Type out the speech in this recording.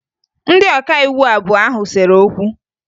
Ndị ọkaiwu abụọ ahụ sere okwu